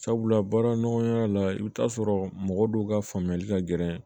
Sabula baara nɔgɔya la i bɛ t'a sɔrɔ mɔgɔ dɔw ka faamuyali ka gɛlɛn